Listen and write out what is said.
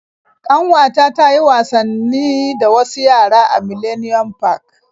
Ƙanwata ta yi wasanni da wasu yara a Millennium park.